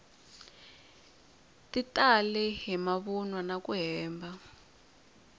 ti talele hi mavunwa naku hemba